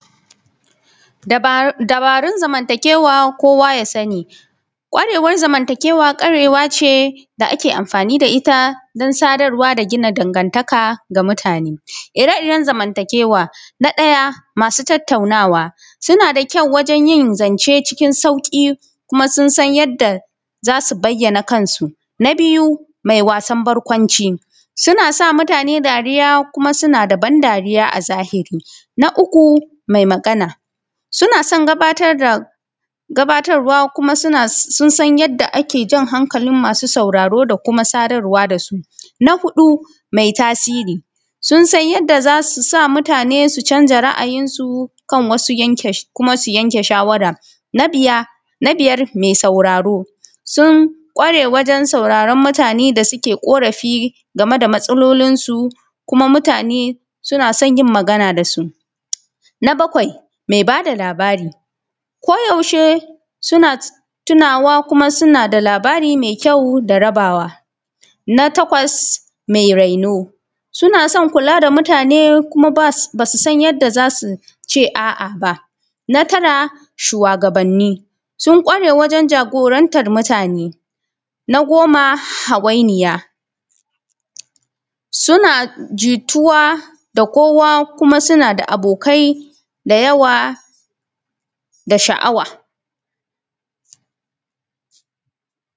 dabarun zamantakewa kowa ya sani kwarewar zamantakewa kwarewace da ake amfani da ita dan sadarwa da gina dangantaka da mutane ire iren zamantakewa na ɗaya masu tattaunawa suna da kyau wajen yin zance cikin sauƙi kuma sun san yadda zasu bayyana kansu na biyu mai wasan barkwanci suna sa mutane dariya kuma suna da ban dariya a zahiri na uku mai magana suna sai gabatar da gabatarwa kuma suna sun san yanda ake jan hankalin masu sauraro da kuma sadarwa da sun a huɗu mai tasiri sun san yanda zasu sa mutane su canza ra`ajinsu kan wasu yanke kuma su yanke shawara na biyar mai sauraron mutane da suke ƙorafi game da matsalolinsu kuma mutane suna son jin magana da su na bakwai mai ba da labarai ko yaushe suna tunawa kuma suna da labari mai kyau da rabawa na takwas mai raino suna son kula da mutane kuma basu san yadda za su ce a`a ba na tara shuwagabanni sun kware wajen jagorantar mutane na goma hawainiya suna jituwa da kowa kuma suna da abokai da yawa da sha`awa